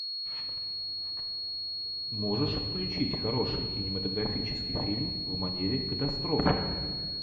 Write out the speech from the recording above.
можешь включить хороший кинематографический фильм в манере катастрофы